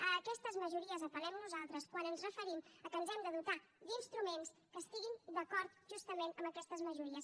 a aquestes majories apel·lem nosaltres quan ens referim que ens hem de dotar d’instruments que estiguin d’acord justament amb aquestes majories